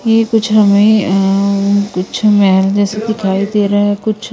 ये कुछ हमें अह कुछ मैहेल जैसे दिखाई दे रहा है कुछ--